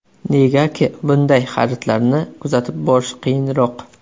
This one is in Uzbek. Negaki bunday xaridlarni kuzatib borish qiyinroq.